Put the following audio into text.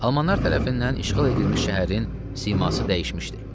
Almanlar tərəfindən işğal edilmiş şəhərin siması dəyişmişdi.